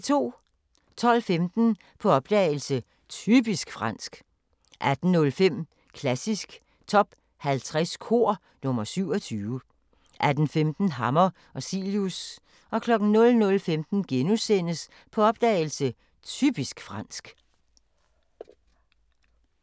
12:15: På opdagelse – Typisk fransk 18:05: Klassisk Top 50 Kor – nr. 27 18:15: Hammer og Cilius 00:15: På opdagelse – Typisk fransk *